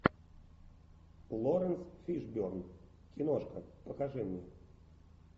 лоренс фишберн киношка покажи мне